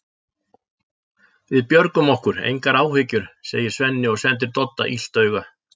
Við björgum okkur, engar áhyggjur, segir Svenni og sendir Dodda illt auga.